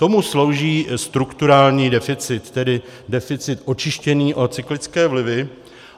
Tomu slouží strukturální deficit, tedy deficit očištěný o cyklické vlivy.